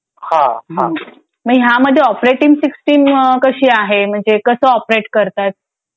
हा हा मग ह्यामध्ये ऑपरेटिंग सिस्टीम कशी आहे म्हणजे कसं ऑपरेट करतात.